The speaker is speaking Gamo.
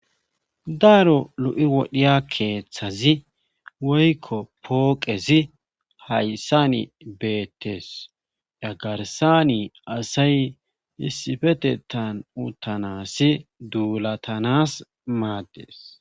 daaro lu7i wodhiya keeththazi woykko pooqezi hayssani beettes dhagarsani asay issifetetan utanasi duulatanas maaddes